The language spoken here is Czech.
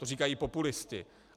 To říkají populisté.